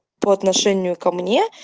по отношению ко мне